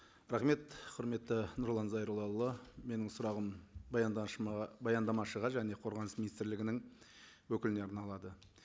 рахмет құрметті нұрлан зайроллаұлы менің сұрағым баяндамашыға және қорғаныс министрлігінің өкіліне арналады